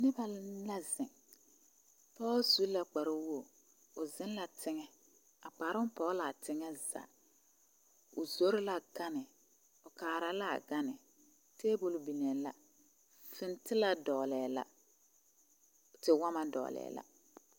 Noba la zeŋ pɔɔ zu la kpar woo o zeŋ la teŋa a kparoo pɔge laa teŋa zaa o zoro la gane o kaara laa gane taabol niŋee la fintilaa dɔgelɛɛ la tewɔmɔ dɔgelɛɛ la